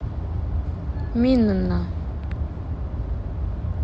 минна